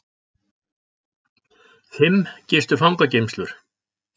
Fimm gistu fangageymslur